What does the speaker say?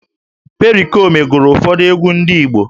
Perikoma gụrụ ụfọdụ egwú ndị Igbo